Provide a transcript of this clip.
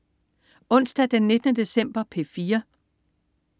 Onsdag den 19. december - P4: